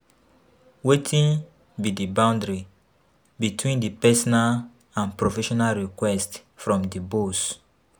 Wetin be di boundary between di personal and professional requests from di boss?